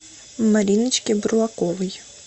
мариночке бурлаковой